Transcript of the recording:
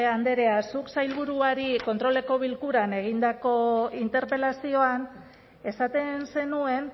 andrea zuk sailburuari kontroleko bilkuran egindako interpelazioan esaten zenuen